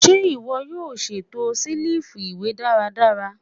Ṣe iwọ yoo ṣeto selifu iwe daradara?